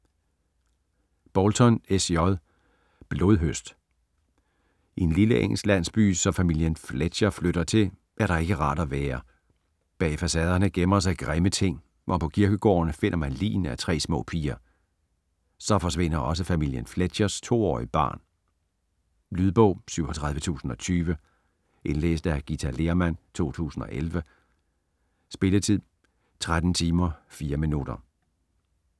Bolton, S. J.: Blodhøst I en lille engelsk landsby, som familien Fletcher flytter til, er der ikke rart at være. Bag facaderne gemmer sig grimme ting, og på kirkegården finder man ligene af tre små piger. Så forsvinder også familien Fletchers to-årige barn. Lydbog 37020 Indlæst af Githa Lehrmann, 2011. Spilletid: 13 timer, 4 minutter.